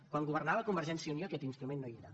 quan governava convergència i unió aquest instrument no hi era